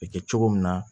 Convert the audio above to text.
Bɛ kɛ cogo min na